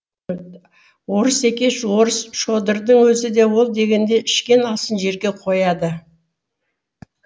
орыс екеш орыс шодырдың өзі де ол дегенде ішкен асын жерге қояды